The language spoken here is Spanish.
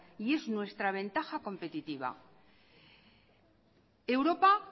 y es nuestra ventaja competitiva europa